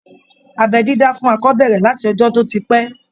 Abẹ́ dídá fún akọ bẹ̀rẹ̀ láti ọjọ́ tó ti pẹ́